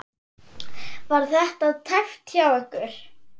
Var þetta tæpt hjá ykkur?